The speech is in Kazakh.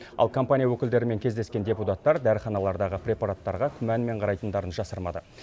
ал компания өкілдерімен кездескен депутаттар дәріханалардағы препараттарға күмәнмен қарайтындарын жасырмады